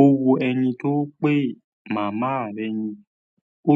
O wo ẹni tó ń pè màmá rẹ̀ ni ó".